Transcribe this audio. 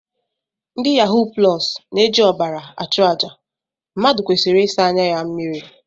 Ndị yahuu plọs na-eji ọbara achụ àjà, mmadụ kwesịrị ịsa anya na mmiri